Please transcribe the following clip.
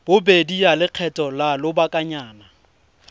bobedi ya lekgetho la lobakanyana